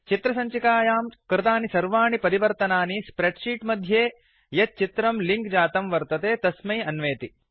चित्रसञ्चिकायां कृतानि सर्वाणि परिवर्तनानि स्प्रेड् शीट् मध्ये यत् चित्रं लिंक् जातं वर्तते तस्मै अन्वेति